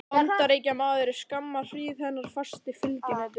Bandaríkjamaður er skamma hríð hennar fasti fylginautur.